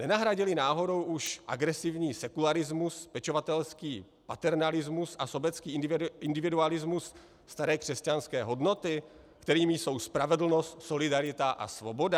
Nenahradily náhodou už agresivní sekularismus, pečovatelský paternalismus a sobecký individualismus staré křesťanské hodnoty, kterými jsou spravedlnost, solidarita a svoboda?